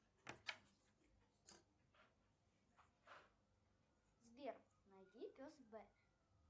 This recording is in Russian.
сбер найди пес б